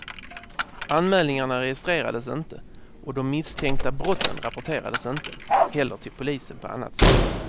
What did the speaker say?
Anmälningarna registrerades inte och de misstänkta brotten rapporterades inte heller till polisen på annat sätt.